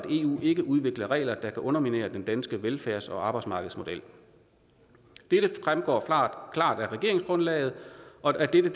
eu ikke udvikler regler der kan underminere den danske velfærds og arbejdsmarkedsmodel dette fremgår klart af regeringsgrundlaget og dette